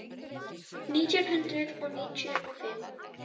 Nítján hundruð níutíu og fimm